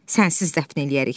Sənsiz dəfn eləyərik.